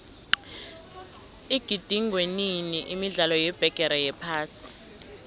igidingwenini imidlalo yebigiri yephasi